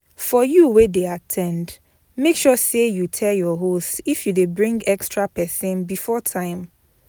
For you wey de at ten d make sure say you tell your host if you de bring extra persin before time